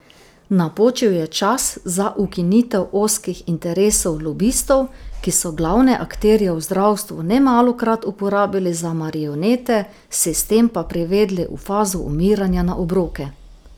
Napočil je čas za ukinitev ozkih interesov lobistov, ki so glavne akterje v zdravstvu nemalokrat uporabili za marionete, sistem pa privedli v fazo umiranja na obroke.